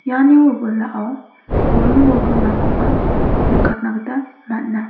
iani wilwilao buring bolgrimrangkoba nikatna gita man·a.